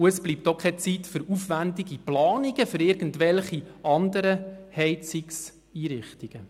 Dann bleibt auch keine Zeit für aufwendige Planungen für irgendwelche anderen Heizungseinrichtungen.